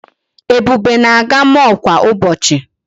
Ebube na-aga mall kwa ụbọchị.